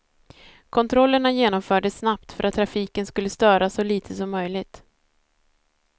Kontrollerna genomfördes snabbt för att trafiken skulle störas så lite som möjligt.